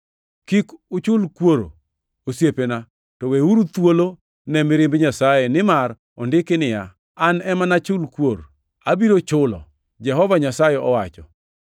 Kik uchul kuoro, osiepena, to weuru thuolo ne mirimb Ruoth Nyasaye, nimar ondiki niya, “An ema nachul kuor; abiro chulo,” Jehova Nyasaye owacho. + 12:19 \+xt Rap 32:35\+xt*